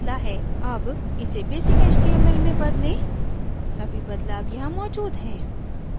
all इसे basic html में बदलें सभी बदलाव यहाँ मौजूद हैं